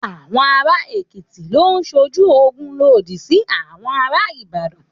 Àwọn ará Èkìtì lọ sójú ogun lòdì sí àwọn ará Ìbàdàn.